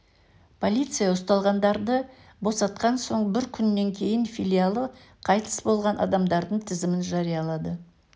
полиция ұсталғандарды босатқан соң бір күннен кейін филиалы қайтыс болған адамдардың тізімін жариялады